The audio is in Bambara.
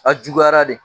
A juguyara de